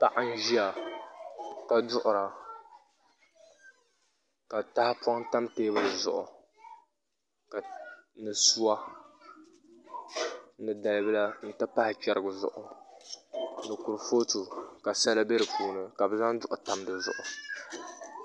Paɣa n ʒiya ka duɣura ka tahapoŋ tam teebuli zuɣu ni suwa ni dalibila n ti pahi chɛrigi zuɣu ni kurifooti ka sala bɛ di puuni ka bi zaŋ duɣu tam dizuɣu